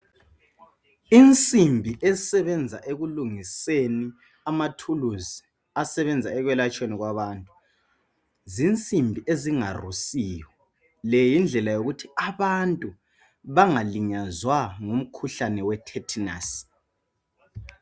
Insimbi esebenza ekulungiseni amathuusi asebenza ekwelatshweni kwabantu. Zinsimbi ezingarusiyo .Yindlela yokuthi abantu bangalinyazwa ngumkhuhlane we"Tetanus'.